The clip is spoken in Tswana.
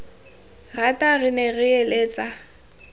rata re ne re eletsa